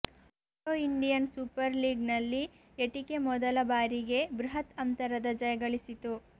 hero Indian super league ನಲ್ಲಿ ATK ಮೊದಲ ಬಾರಿಗೆ ಬೃಹತ್ ಅಂತರದ ಜಯ ಗಳಿಸಿತು